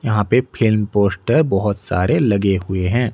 यहां पे film poster बहुत सारे लगे हुए हैं।